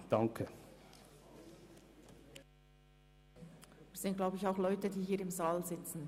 Ich glaube, es betrifft auch Leute, die hier im Saal sitzen.